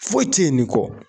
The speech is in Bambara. Foyi tɛ ye nin kɔ